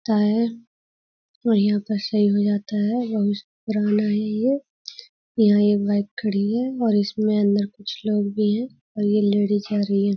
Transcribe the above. ता है और यहाँ पर सही हो जाता है। बहुत पुराना है ये। यहाँ एक बाईक खड़ी है और इसमें अंदर कुछ लोग भी हैं और ये लेडीज़ जा रही हैं।